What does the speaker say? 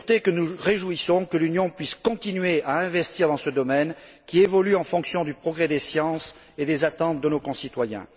Nous nous réjouissons que l'Union puisse continuer à investir dans le domaine de la sûreté, qui évolue en fonction du progrès des sciences et des attentes de nos concitoyens.